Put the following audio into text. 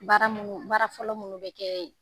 Baara munu, baara fɔlɔ minnu bɛ kɛ yen